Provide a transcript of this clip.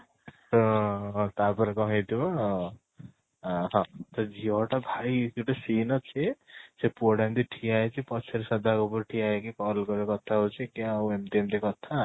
ତ ତା ପରେ କ'ଣ ହେଇ ଥିବ ଆଁ ହଁ ସେ ଝିଅ ଟା ଭାଇ ଗୋଟେ scene ଅଛି ସେ ପୁଅ ଟା ଏମିତି ଠିଆ ହେଇଚି ପଛରେ ଶ୍ରଦ୍ଧା କପୂର ଠିଆ ହେଇକି call କରି କଥା ହଉଚି କି ଆଉ ଏମିତି ଏମିତି କଥା